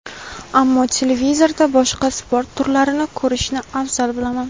ammo televizorda boshqa sport turlarini ko‘rishni afzal bilaman.